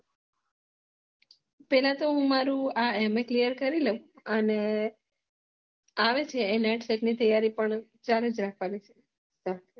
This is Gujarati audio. પેલા તો હું આ મારું MA clear કરી લઉં અને આવેછે તૈયારી પણ હું ચાલુ જ રાખવાનું